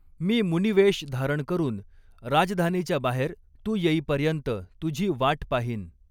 मी मुनिवेष धारण करून राजधानीच्या बाहेर तू येईपर्यंत तुझी वाट पाहीन.